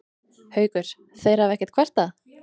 Haukur: Þeir hafa ekkert kvartað?